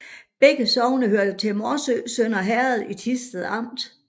Begge sogne hørte til Morsø Sønder Herred i Thisted Amt